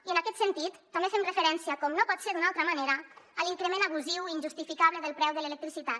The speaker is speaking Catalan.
i en aquest sentit també fem referència com no pot ser d’una altra manera a l’increment abusiu i injustificable del preu de l’electricitat